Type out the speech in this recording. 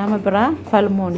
nama biraa falmuun